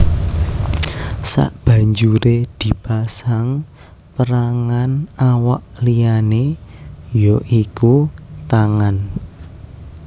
Sabanjuré dipasang pérangan awak liyané ya iku tangan